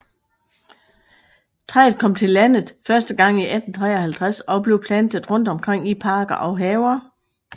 Træet kom til landet første gang i 1853 og blev plantet rundt omkring i parker og haver